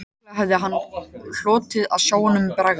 Líklega hefði hann hlotið að sjá honum bregða